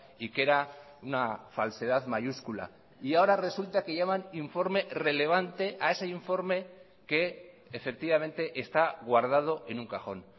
y que era una falsedad mayúscula y ahora resulta que llaman informe relevante a ese informe que efectivamente está guardado en un cajón